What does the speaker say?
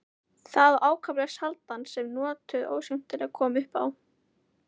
Það var ákaflega sjaldan sem nokkuð óskemmtilegt kom upp á.